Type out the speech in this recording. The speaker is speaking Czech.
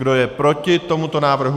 Kdo je proti tomuto návrhu?